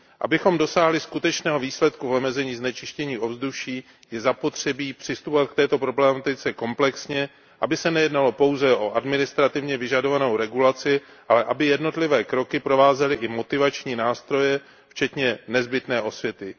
Abychom dosáhli skutečného výsledku v omezení znečištění ovzduší, je zapotřebí přistupovat k této problematice komplexně, aby se nejednalo pouze o administrativně vyžadovanou regulaci, ale aby jednotlivé kroky provázely i motivační nástroje včetně nezbytné osvěty.